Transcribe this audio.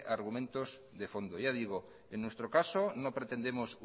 argumentos de fondo ya digo en nuestro caso no pretendemos